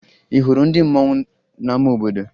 Ị hụrụ ndị mmanwụ n'ama obodo?